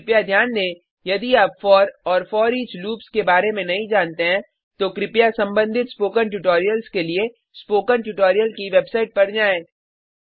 कृपया ध्यान दें यदि आप फोर और फोरिच लूप्स के बारे में नहीं जानते हैं तो कृपया संबंधित स्पोकन ट्यूटोरियल्स के लिए स्पोकन ट्यूटोरियल की वेबसाइट पर जाएँ